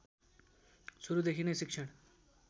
सुरुदेखि नै शिक्षण